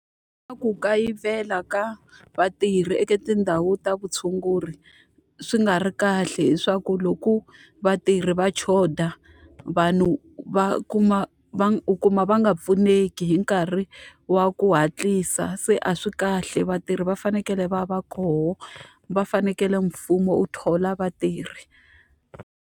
Ka ku kayivela ka vatirhi eka tindhawu ta vutshunguri swi nga ri kahle hileswaku loko vatirhi va xotha, vanhu va kuma va u kuma va nga pfuneki hi nkarhi wa ku hatlisa. Se a swi kahle vatirhi va fanekele va va kona, va fanekele mfumo wu thola vatirhi.